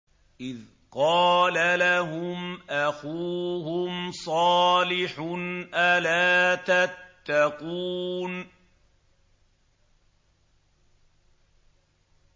إِذْ قَالَ لَهُمْ أَخُوهُمْ صَالِحٌ أَلَا تَتَّقُونَ